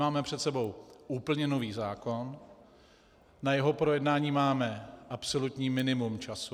Máme před sebou úplně nový zákon, na jeho projednání máme absolutní minimum času.